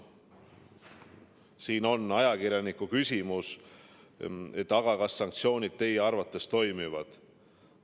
Siin on ajakirjaniku küsimus: "Aga kas sanktsioonid teie arvates toimivad?